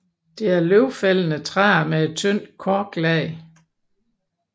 Det er løvfældende træer med et tyndt korklag